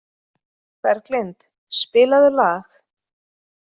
Berglind, spilaðu lag.